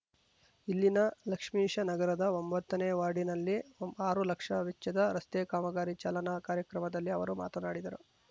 ಇಲ್ಲಿನ ಲಕ್ಷ್ಮೀಶ ನಗರದ ಒಂಬತ್ತನೇ ವಾರ್ಡಿನಲ್ಲಿ ಆರು ಲಕ್ಷ ವೆಚ್ಚದ ರಸ್ತೆ ಕಾಮಗಾರಿ ಚಾಲನಾ ಕಾರ್ಯಕ್ರಮದಲ್ಲಿ ಅವರು ಮಾತನಾಡಿದರು